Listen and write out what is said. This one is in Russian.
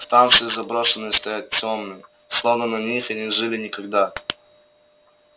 станции заброшенные стоят тёмные словно на них и не жили никогда